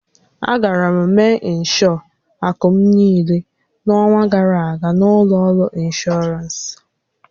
Agara m mee ịnshọọ akụ m niile n'ọnwa gara aga na ụlọ ọrụ inshọransị.